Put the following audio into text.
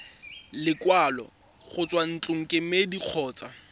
lekwalo go tswa ntlokemeding kgotsa